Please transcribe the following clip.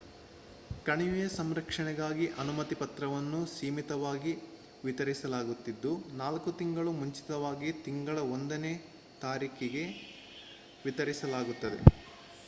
ಕಣಿವೆಯ ಸಂರಕ್ಷಣೆಗಾಗಿ ಅನುಮತಿ ಪತ್ರಗಳನ್ನು ಸೀಮಿತವಾಗಿ ವಿತರಿಸಲಾಗುತಿದ್ದು 4 ತಿಂಗಳು ಮುಂಚಿತವಾಗಿ ತಿಂಗಳ 1 ನೇ ತಾರೀಖಿಗೆ ವಿತರಿಸಲಾಗುತ್ತದೆ